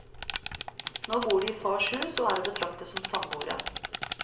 Nå bor de i fars hus, og er å betrakte som samboere.